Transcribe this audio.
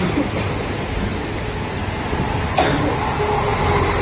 ঠিকে আছা ?